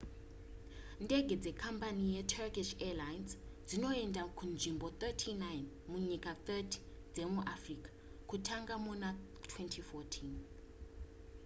ndege dzekambani yeturkish airlines dzinoenda kunzvimbo 39 munyika 30 dzemuafrica kutanga muna 2014